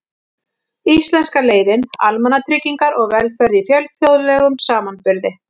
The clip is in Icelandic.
Íslenska leiðin: Almannatryggingar og velferð í fjölþjóðlegum samanburði.